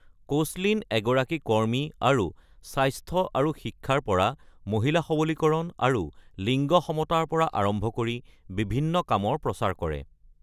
Koechlin এগৰাকী কৰ্মী আৰু স্বাস্থ্য আৰু শিক্ষাৰ পৰা মহিলা সৱলীকৰণ আৰু লিংগ সমতাৰ পৰা আৰম্ভ কৰি বিভিন্ন কামৰ প্ৰচাৰ কৰে।